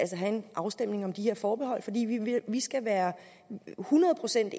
have en afstemning om de her forbehold fordi vi vi skal være hundrede procent